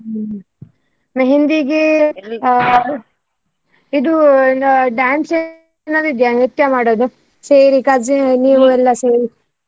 ಹ್ಮ್ मेहंदी ಗೆ ಇದು dance ಏನಾದ್ರೂ ಇದ್ಯಾ ನೃತ್ಯ ಮಾಡುದು. ಸೇರಿ cousin ನೀವು cousin ಎಲ್ಲಾ ಸೇರಿ.